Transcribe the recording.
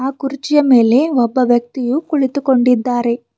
ಕುರ್ಚಿಯ ಮೇಲೆ ಒಬ್ಬ ವ್ಯಕ್ತಿಯು ಕುಳಿತುಕೊಂಡಿದ್ದಾರೆ.